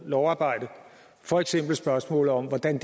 lovarbejde for eksempel spørgsmålet om hvordan